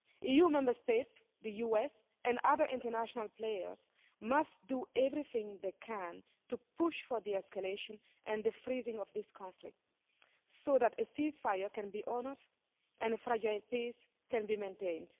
EU Member States, the US and other international players must do everything they can to push for de escalation and the freezing of this conflict so that a cease fire can be honoured and a fragile peace can be maintained.